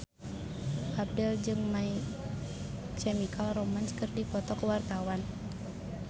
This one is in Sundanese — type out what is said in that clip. Abdel jeung My Chemical Romance keur dipoto ku wartawan